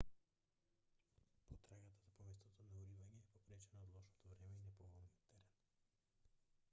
потрагата по местото на уривање е попречена од лошото време и неповолниот терен